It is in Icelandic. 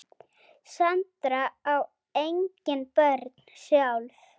Sandra á engin börn sjálf.